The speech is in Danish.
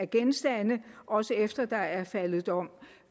genstande også efter at der er faldet dom